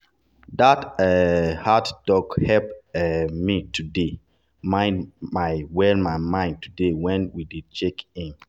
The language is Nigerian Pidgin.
that um hard talk help um me talk my mind well my mind well today when we dey check-in.